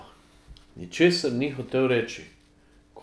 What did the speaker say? Ničesar ni hotel reči.